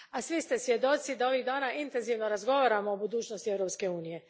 A svi ste svjedoci da ovih dana intenzivno razgovaramo o budućnosti Europske unije.